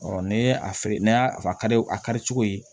ne a feere ne y'a kari a ka di cogo ye